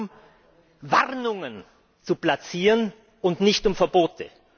Es geht darum, Warnungen zu platzieren, und nicht um Verbote.